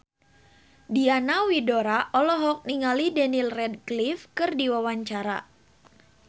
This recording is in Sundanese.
Diana Widoera olohok ningali Daniel Radcliffe keur diwawancara